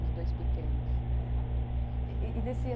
Os dois pequenos. É